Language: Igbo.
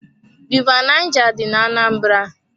River Naija dị ná-Anambra.